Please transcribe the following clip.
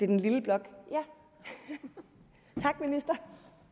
den lille blok tak minister